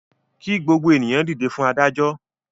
Kí gbogbo ènìyàn dìde fún adájọ́!